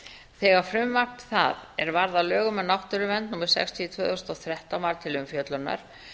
þegar frumvarp það er varð að lögum um náttúruvernd númer sextíu tvö þúsund og þrettán var til umfjöllunar